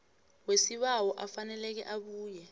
wesibawo afaneleko abuya